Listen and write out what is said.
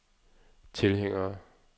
tilhængere